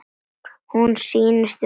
Hún snýst um vald.